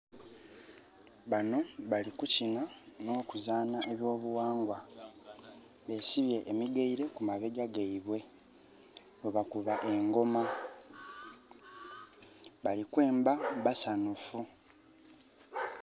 Banho bali kukina, n'okuzaanha eby'obughangwa. Besibye emigaile ku mabega gaibwe, bwebakuba engoma. Bali kwemba basanhufu.